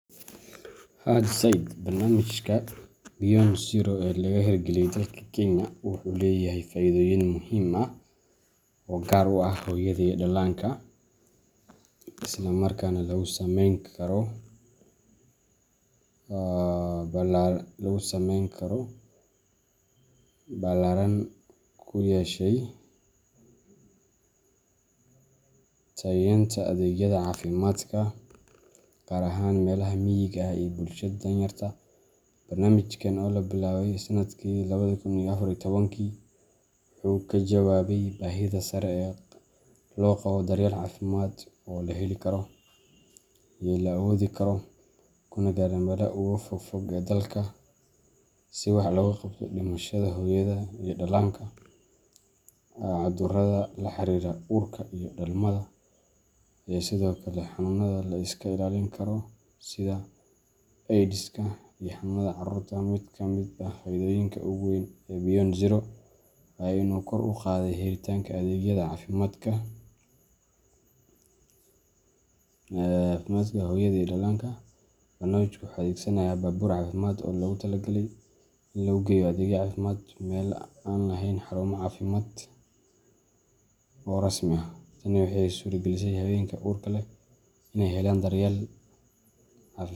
Haa zaid ,Barnaamijka Beyond Zero ee laga hirgeliyay dalka Kenya wuxuu leeyahay faa’iidooyin muhiim ah oo gaar u ah hooyada iyo dhallaanka, isla markaana saameyn ballaaran ku yeeshay tayeynta adeegyada caafimaadka, gaar ahaan meelaha miyiga ah iyo bulshada danyarta ah. Barnaamijkan oo la bilaabay sanadkii labadi kun iyo afar iyo tobankii, wuxuu ka jawaabayay baahida sare ee loo qabo daryeel caafimaad oo la heli karo, la awoodi karo, kana gaadha meelaha ugu fog ee dalka, si wax looga qabto dhimashada hooyada iyo dhallaanka, cudurrada la xiriira uurka iyo dhalmada, iyo sidoo kale xanuunada la iska ilaalin karo sida Aydiska iyo xanuunada caruurta. Mid ka mid ah faa’iidooyinka ugu waaweyn ee Beyond Zero waa in uu kor u qaaday helitaanka adeegyada caafimaadka hooyada iyo dhallaanka. Barnaamijku wuxuu adeegsanayaa baabuur caafimaad oo loogu tala galay inuu geeyo adeegyo caafimaad meelaha aan lahayn xarumo caafimaad oo rasmi ah. Tani waxay u suuragelisay haweenka uurka leh in ay helaan daryeel cafimaad.